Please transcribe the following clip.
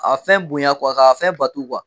A fɛn bonya k'a fɛn batu